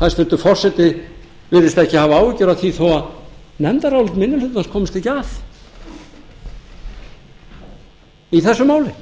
hæstvirtur forseti virðist ekki afa áhyggjur af því þó að nefndarálit minni hlutans komist ekki að í þessu máli